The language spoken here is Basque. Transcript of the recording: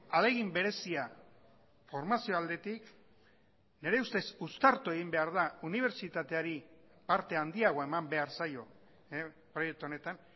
ahalegin berezia formazio aldetik nire ustez uztartu egin behar da unibertsitateari parte handiagoa eman behar zaio proiektu honetan